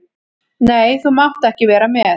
Nei, þú mátt ekki vera með.